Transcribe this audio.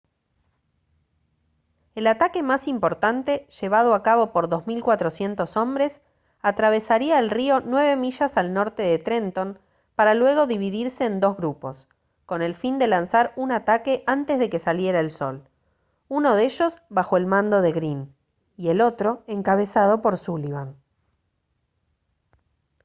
el ataque más importante llevado a cabo por 2400 hombres atravesaría el río nueve millas al norte de trenton para luego dividirse en dos grupos con el fin de lanzar un ataque antes de que saliera el sol uno de ellos bajo el mando de greene y el otro encabezado por sullivan